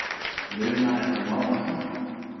Muna eftir náunganum.